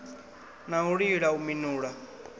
na u lila u minula